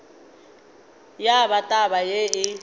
ya ba taba yeo e